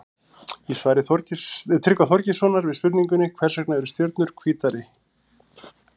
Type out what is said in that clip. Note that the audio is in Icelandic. Í svari Tryggva Þorgeirssonar við spurningunni Hvers vegna eru stjörnurnar hvítar?